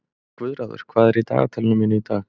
Guðráður, hvað er í dagatalinu mínu í dag?